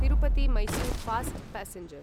Tirupati Mysore fast passenger